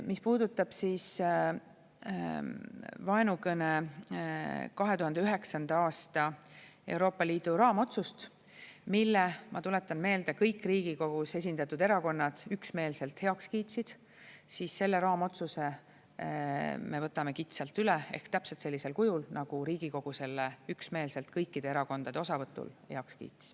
Mis puudutab vaenukõne 2009. aasta Euroopa Liidu raamotsust, mille, ma tuletan meelde, kõik Riigikogus esindatud erakonnad üksmeelselt heaks kiitsid, siis selle raamotsuse me võtame kitsalt üle ehk täpselt sellisel kujul, nagu Riigikogu selle üksmeelselt kõikide erakondade osavõtul heaks kiitis.